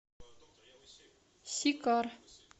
сикар